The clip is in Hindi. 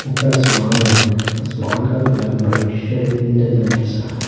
ऊपर आसमान है आसमान का कलर मल्टीस्टेट इंद्र धनुष जैसा है।